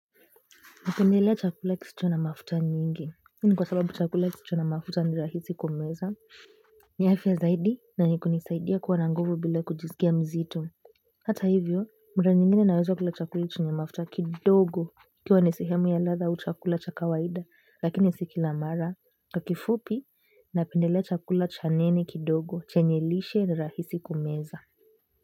Napendelea chakula kisicho na mafuta nyingi. Hii ni kwa sababu chakula kisicho na mafuta ni rahisi kumeza. Ni afya zaidi na inanisaidia kuwa na nguvu bila kujisikia mzito. Hata hivyo, mara nyingine naweza kula chakula chenye mafuta kidogo. Ikiwa ni sehemu ya ladha au chakula cha kawaida lakini si kila mara. Kwa kifupi, napendelea chakula cha neni kidogo, chanye lishe, ni rahisi kumeza.